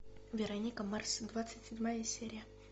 вероника марс двадцать седьмая серия